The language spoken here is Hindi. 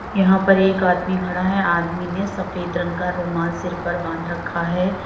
यहां पर एक आदमी खड़ा है आदमी ने सफेद रंग का रुमाल सिर पर बांध रखा है।